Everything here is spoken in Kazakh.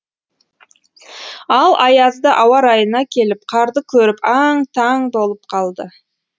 ал аязды ауа райына келіп қарды көріп аң таң болып қалды